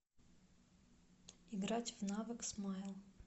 играть в навык смайл